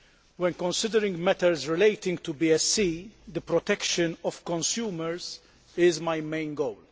When considering matters relating to BSE, the protection of consumers is my main goal.